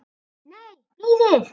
Nei, bíðið.